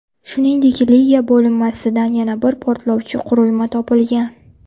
Shuningdek, Liga bo‘linmasidan yana bir portlovchi qurilma topilgan.